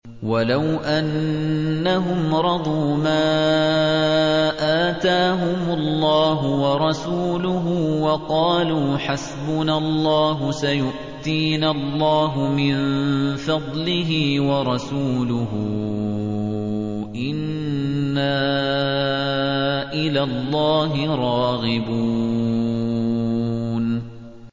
وَلَوْ أَنَّهُمْ رَضُوا مَا آتَاهُمُ اللَّهُ وَرَسُولُهُ وَقَالُوا حَسْبُنَا اللَّهُ سَيُؤْتِينَا اللَّهُ مِن فَضْلِهِ وَرَسُولُهُ إِنَّا إِلَى اللَّهِ رَاغِبُونَ